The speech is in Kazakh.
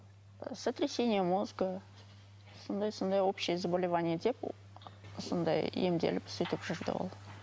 сотрясение мозга сондай сондай общие заболевания деп сондай емделіп сөйтіп жүрді ол